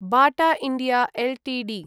Bata India Ltd